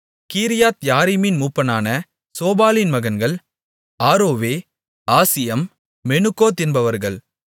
கீரியாத்யாரிமின் மூப்பனான சோபாலின் மகன்கள் ஆரோவே ஆசியம் மெனுகோத் என்பவர்கள்